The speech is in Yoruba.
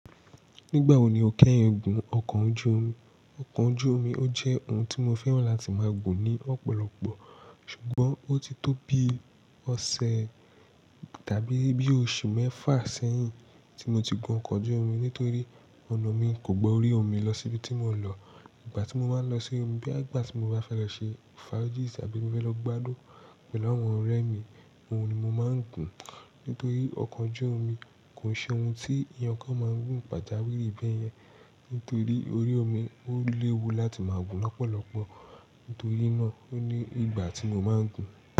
Nígbà wo ni o kẹ́yìn gún ọkọ̀ ojú omi? Ọkọ̀ ojú omi ó jẹ́ ohun tí mo fẹ́ràn láti máa gùn ní ọ̀pọ̀lọpọ̀. Ṣùgbọ́n ó ti tó bi ọ̀sẹ̀ tàbí bí oṣù mẹ́fà sẹ́yìn tí mo ti gun ọkọ̀ ojú omi nítorí ọ̀nà mi kò gba orí omi lọ síbi tí mò ń lọ. Ìgbbà tí mo máa ń lọ sí omi, bí àgbà tí mo bá fẹ́ lọ ṣe faidis tàbí mo fẹ́ lọ gbádùn pẹ̀lú àwọn ọ̀rẹ́ mi, òun ni mo máa ń gùn. Nítorí ọkọ̀ ojú omi kò ṣe ohun tí èyàn kan máa ń gùn pàjáwìrì bẹ́yẹn. Nítorí orí omi ó léwu láti máa gùn lọ́pọ̀lọpọ̀. Nítorí náà, ó ni ìgbà tí mo máa ń gùn.